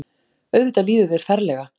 Auðvitað líður þér ferlega.